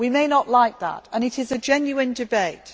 We may not like that, and it is a genuine debate.